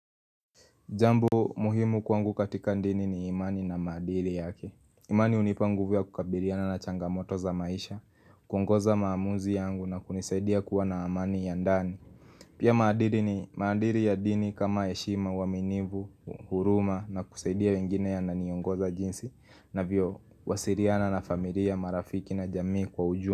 Jambo muhimu kwangu katika ndini ni imani na madili yake. Imani unipa nguvu ya kukabiliana na changamoto za maisha, kuongoza maamuzi yangu na kunisaidia kuwa na amani ya ndani. Pia maadiri ni madiri ya dini kama heshima waminivu, huruma na kusaidia wengine yana niongoza jinsi navyo wasiriana na familia marafiki na jamii kwa ujumla.